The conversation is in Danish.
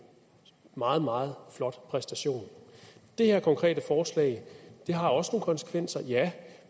meget meget flot præstation det her konkrete forslag har også nogle konsekvenser ja